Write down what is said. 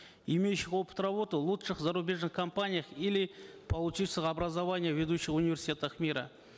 имеющих опыт работы в лучших зарубежных компаниях или получивших образование в ведущих университетах мира